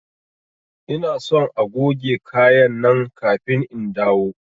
Ina son agoge kaya nan kafin in dawo!